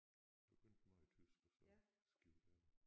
Begyndte meget tysk og så skiftede jeg